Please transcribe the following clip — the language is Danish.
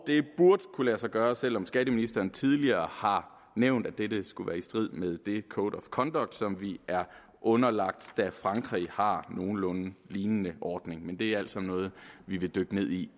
det burde kunne lade sig gøre selv om skatteministeren tidligere har nævnt at dette skulle være i strid med den code of conduct som vi er underlagt da frankrig har en nogenlunde lignende ordning men det er altså noget vi vil dykke ned i